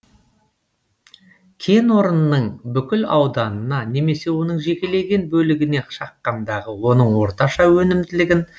кенорынның бүкіл ауданына немесе оның жекелеген бөлігіне шаққандағы оның орташа өнімділігін